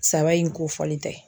Saba in kofɔlen tɛ